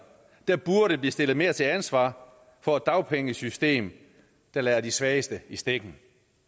der burde blive stillet mere til ansvar for et dagpengesystem der lader de svageste i stikken